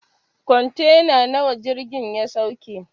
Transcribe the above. Kwantena nawa jirgin ya sauke?